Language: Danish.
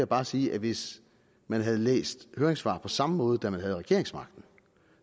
bare sige at hvis man havde læst høringssvar på samme måde da man havde regeringsmagten